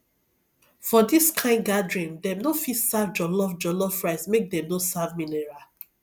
for this kind gathering dem no fit serve jollof jollof rice make dem no serve mineral